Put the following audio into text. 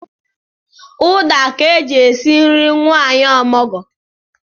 Ụda ka e ji esi nri nwanyị omụgwọ